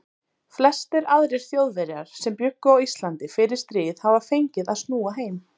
Flestir aðrir Þjóðverjar sem bjuggu á Íslandi fyrir stríð hafa fengið að snúa heim.